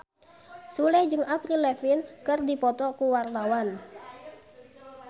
Sule jeung Avril Lavigne keur dipoto ku wartawan